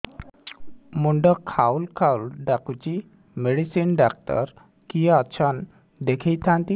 ମୁଣ୍ଡ ଖାଉଲ୍ ଖାଉଲ୍ ଡାକୁଚି ମେଡିସିନ ଡାକ୍ତର କିଏ ଅଛନ୍ ଦେଖେଇ ଥାନ୍ତି